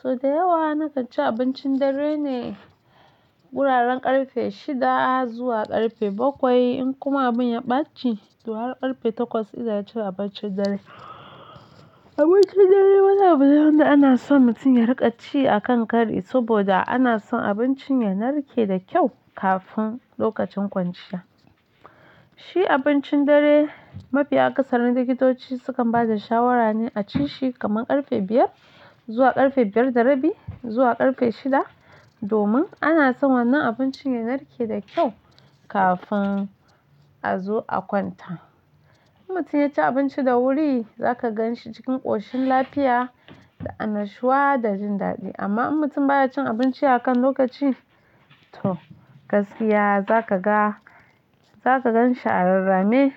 So da yawa na kaci abincin dare ne, guraren ƙarfe shida zuwa ƙarfe bakwai in kuma abun ya ɓaci har ƙarfe takwas ina cin abincin dare. Abincin dare wani abu ne wanda ana son mutum ya riƙa ci a kan kari saboda ana son abincin ya narke da kyau kafin lokacin kwanciya. Shi abincin dare mafi akasarin likitoci sukan bada shawara ne a ci shi kaman ƙarfe biyar zuwa ƙarfe biyar da rabi zuwa ƙarfe shida domin ana son wannan abincin ya narke da kyau kafin a zo a kwanta. In mutum ya ci abinci da wuri zaka gan shi cikin ƙoshin lafiya da annashuwa da jin daɗi amma in mutum baya cin abinci a kan lokaci, gaskiya za kaga-- za ka gan shi a rarrame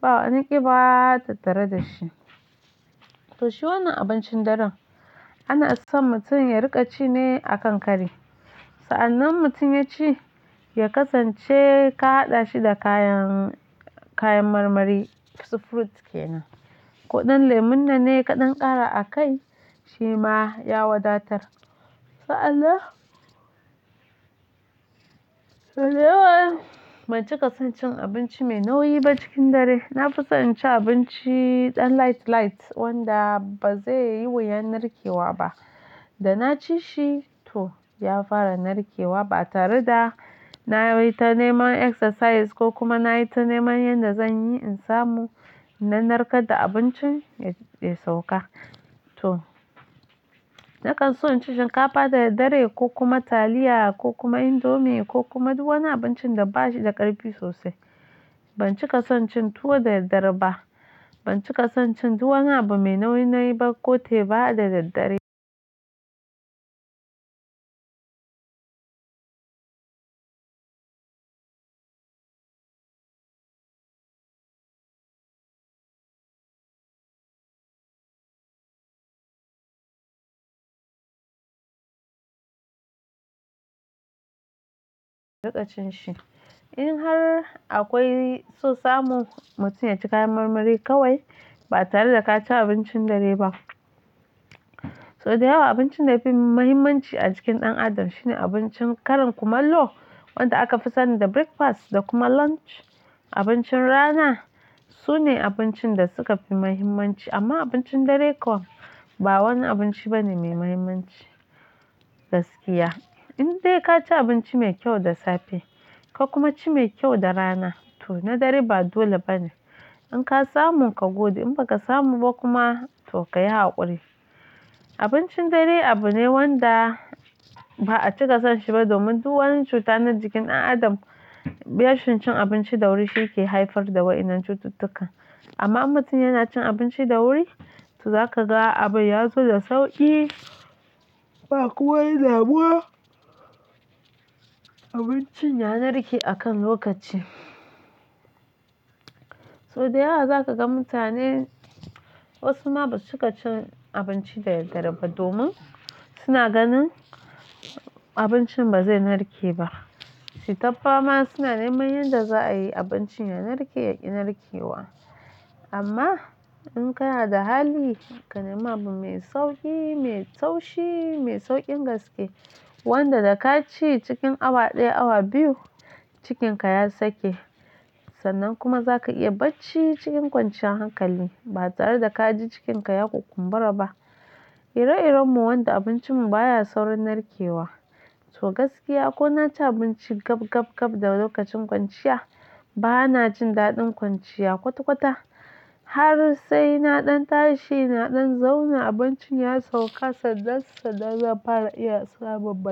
ba wani ƙiba tattare da shi. To shi wannan abincin daren ana son mutum ya riƙa ci ne a kan kari. Sa'anan mutum ya ci, ya kasance ka haɗa shi da kayan-- kayan marmari, su fruit ke nan. Ko ɗan lemon nan ne kaɗan ƙara a kai shi ma ya wadatar. Sa'an nan, so da yawa ban cika son cin abinci mai nauyi ba cikin dare. Na fi son ci abinci ɗan light light wanda ba zai yi wuyan narkewa ba. Da na ci shi, to ya fara narkewa ba tare da na yi ta neman exercise ko kuma na yi ta neman yanda zan yi in samu na narkar da abincin ya sauka. To na kan so in ci shinkafa da daddare ko kuma taliya ko kuma indomi ko kuma duk wani abincin da bashi da ƙarfi sosai. Ban cika son cin tuwo da daddare ba. Ban cika son cin duk wani abu mai nauyi ba ko teba da daddare. Riƙa cin shi. In har akwai so samu mutum ya ci kayan marmari kawai ba tare da ka ci abincin dare ba. So da yawa abincin da yafi muhimmanci a cikin ɗan adam shine abincin karan kumallo wanda aka fi sani da breakfast da kuma lunch. Abincin rana sune abincin da suka fi muhimmanci amma abincin dare kuwa ba wani abinci bane mai muhimmanci. Gaskiya in dai ka ci abinci mai kyau da safe ka kuma ci mai kyau da rana to na dare ba dole bane. In ka samu ka gode in ba ka samu ba kuma to ka yi haƙuri. Abincin dare abu ne wanda ba a cika son shi ba domin duk wani cuta na jikin ɗan adam, rashin cin abinci da wuri shi ke haifar da wa'inan cututtukan. Amma in mutum yana cin abinci da wuri to zaka ga abu ya zo da sauƙi ba kuma wani dabuwa abincin ya narke a kan lokaci. So da yawa za kaga mutane wasu ma ba su cika cin abinci da daddare ba domin suna ganin abincin ba zai narke ba. Suyi ta fama suna neman yanda za a yi abincin ya narke ya ƙi narkewa. Amma in kana da hali, ka nema abu mai sauƙi, mai taushi, mai sauƙin gaske wanda da ka ci cikin awa ɗaya awa biyu cikinka ya sake. Sannan kuma za ka iya bacci cikin kwanciyar hankali ba tare da ka ji cikinka ya ku kumbura ba. Ire iren mu wanda abincin mu baya saurin narkewa. To gaskiya ko na ci abinci gab gab gab da lokacin kwanciya ba na jin daɗin kwanciya kwata kwata har sai naɗan tashi naɗan zauna abincin ya sauka sannan sannan zan fara iya samun bacci.